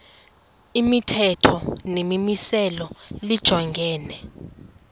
imithetho nemimiselo lijongene